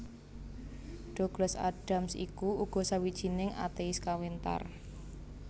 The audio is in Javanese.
Douglas Adams iku uga sawijining atéis kawentar